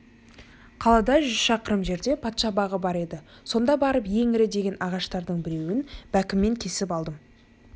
қаладан жүз шақырым жерде патша бағы бар еді сонда барып ең ірі деген ағаштардың бірнешеуін бәкіммен кесіп алдым